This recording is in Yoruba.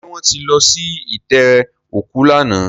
Ṣé wọ́n ti lọ sí itẹ́ òkú lánàá?